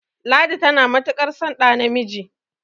ladi tana matuƙ ar son samun ɗa namiji